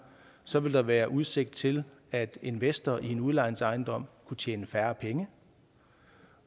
så ville der være udsigt til at investor i en udlejningsejendom kunne tjene færre penge